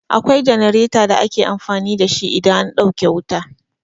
Akwai jenareta da ake amfani da shi idan an ɗauke wuta.